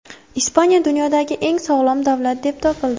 Ispaniya dunyodagi eng sog‘lom davlat deb topildi.